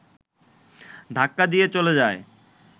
ধাক্কা দিয়ে চলে যায়